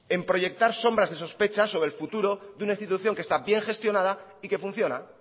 en proyectar sombra de sospechas sobre el futuro de una institución que está bien gestionada y que funciona